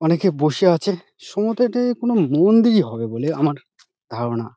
অনেকে বসে আছে । সম্ভবত এটা কোনো মন্দিরই হবে বলে আমার ধারণা ।